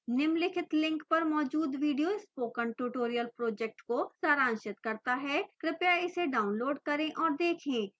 निम्नलिखित link पर मौजूद video spoken tutorial project को सारांशित करता है कृपया इसे डाउनलोड करें और देखें